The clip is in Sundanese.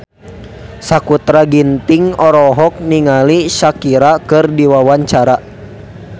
Sakutra Ginting olohok ningali Shakira keur diwawancara